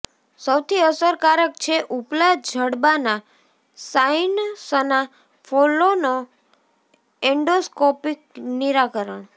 સૌથી અસરકારક છે ઉપલા જડબાનાં સાઇનસના ફોલ્લોના એન્ડોસ્કોપિક નિરાકરણ